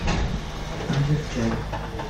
азер чай